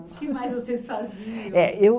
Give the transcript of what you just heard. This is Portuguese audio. O que mais vocês faziam? Eh eu